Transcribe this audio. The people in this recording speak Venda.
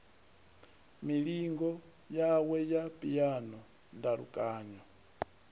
milingo yawe ya phiano ndalukanyo